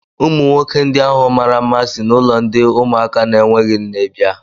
Ụmụ nwoke ndị ahụ mara mma si n'ụlọ ndi ụmụaka na-enweghị nne bia